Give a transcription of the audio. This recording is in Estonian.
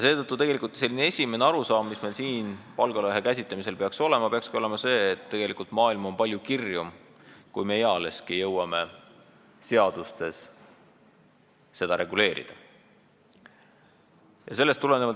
Seetõttu peakski meie esimene arusaam siin palgalõhe käsitlemisel olema selline, et maailm on tegelikult palju kirjum, kui me seda ealeski seadustes reguleerida jõuame.